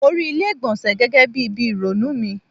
Mo rí ilé ìgbọ̀nsẹ̀ gẹ́gẹ́ bí ibi ìrònú mi.